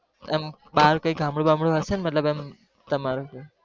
આમ બહાર કઈ ગામડું-બામડું હશેને? મતલબ એમ તમારું?